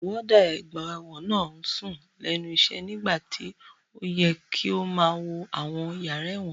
Wọ́ọ́dà ọgbà ẹ̀wọ̀n náà ń sùn lẹ́nu iṣẹ́ nígbà tí ó yẹ kó máa wo àwọn yàrá ẹ̀wọ̀n